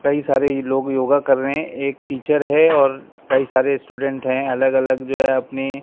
कई सारे लोग योगा कर रहे हैं एक टीचर है और कई सारे स्टूडेंट हैं अलग अलग जो है अपनी--